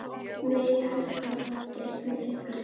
Megi allt gott styrkja ykkur.